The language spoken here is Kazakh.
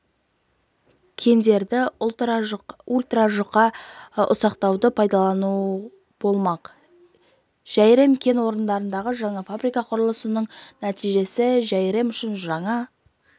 кендерді ультражұқа ұсақтауды пайдалану болмақ жәйрем кен орнындағы жаңа фабрика құрылысының нәтижесі жәйрем үшін жаңа